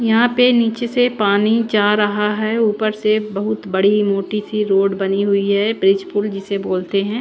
यहां पे नीचे से पानी जा रहा है ऊपर से बहुत बड़ी मोटी सी रोड बनी हुई है ब्रिज पुल जिसे बोलते हैं।